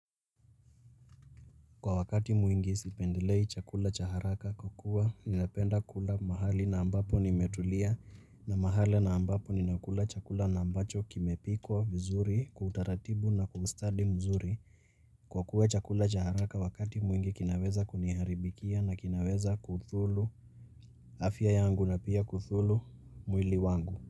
Kwa wakati mwingi sipendelei chakula cha haraka kwa kukuwa ninapenda kula mahali na ambapo nimetulia na mahali na ambapo ninakula chakula na ambacho kimepikwa vizuri kwa utaratibu na kwa ustadi mzuri. Kwa kuwa chakula cha haraka wakati mwingi kinaweza kuniharibikia na kinaweza kudhulu afya yangu na pia kudhulu mwili wangu.